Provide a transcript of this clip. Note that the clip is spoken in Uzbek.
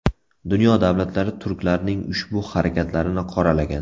Dunyo davlatlari turklarning ushbu harakatlarini qoralagan.